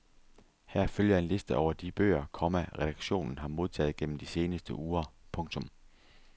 Her følger en liste over de bøger, komma redaktionen har modtaget gennem de seneste uger. punktum